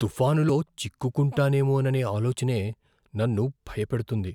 తుఫానులో చిక్కుకుంటానేమోననే ఆలోచనే నన్ను భయపెడుతుంది.